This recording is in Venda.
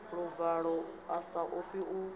luvalo a sa ofhi u